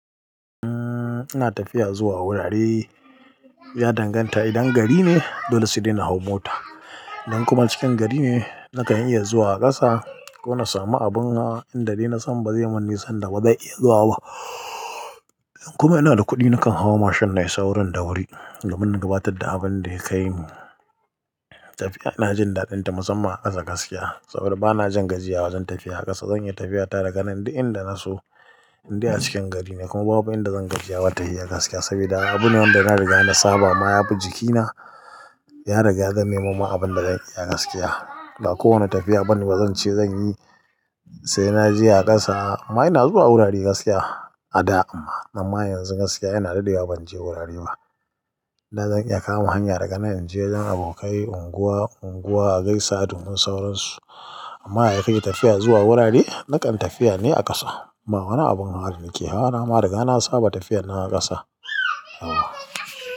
Ina tafiya zuwa wurare, ya danganta idan gari ne dole sai dai na hau mota. Idan kuma cikin gari ne nakan iya zuwa a ƙasa ko na sami abin hawa da idai na san ba zai mun nisar da ba zai iya zuwa ba. Idan kuma ina da kuɗi nakan hau mashin na yi saurin da wuri domin gabatar da abin da ya kai mu. Tafiya ina jin daɗinta musamman a ƙasa gaskiya saboda bana jin gajiya wajen tafiya a ƙasa. Zan iya tafiyata daga nan duk inda na so indai a cikin gari ne kuma babu abin da zan gajiya watayi a ƙasa saboda abune wanda yana riga na saba ma yafi jikina ya riga ya zamemin ma abin da zai iya gaskiya. Ba kowane tafiya bane bazan ce zan yi sai na je a ƙasa. Amma ina zuwa wurare gaskiya a da, amma yanzu gaskiya ina daɗewa ban je wurare ba. Dan zan iya kama hanya daga nan in je gidan abokai unguwa, unguwa a gaishe da su mun sauransu. Amma yaya kake tafiya zuwa wurare na kan tafiya ne a ƙasa. Amma wani abun haɗari yake hawa na ma riga na saba tafiyar na a ƙasa.